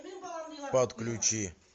подключи